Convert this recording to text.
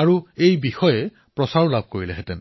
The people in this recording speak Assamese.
আৰু প্ৰচাৰো কৰিলেহেঁতেন